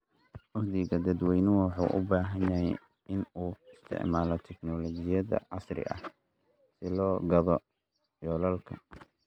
Uhdhigga dadweynaha wuxuu u baahan yahay in uu isticmaalo teknoolojiyada casriga ah si loo gaadho yoolalka.